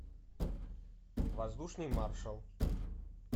воздушный маршал